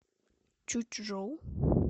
чучжоу